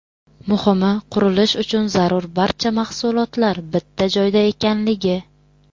Muhimi, qurilish uchun zarur barcha mahsulotlar bitta joyda ekanligi.